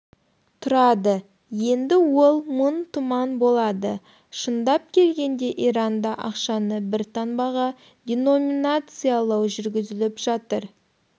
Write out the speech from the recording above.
тұрады енді ол мың туман болады шындап келгенде иранда ақшаны бір таңбаға деноминациялау жүргізіліп жатыр